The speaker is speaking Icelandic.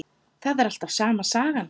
Það er alltaf sama sagan.